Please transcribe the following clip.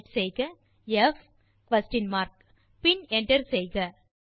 type செய்க comma ப் question mark பின் என்டர் செய்க